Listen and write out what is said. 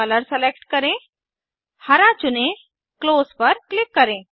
colour select करें हरा चुने क्लोज पर क्लिक करें